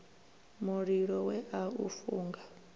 mulilo we a u funga